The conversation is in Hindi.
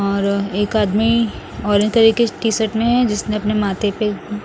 और एक आदमी ऑरेंज कलर की टी शर्ट में है जिसने अपने माथे पे--